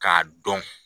K'a dɔn